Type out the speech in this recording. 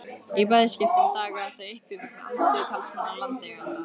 Í bæði skiptin dagaði það uppi vegna andstöðu talsmanna landeigenda.